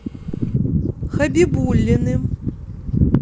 хабибуллиным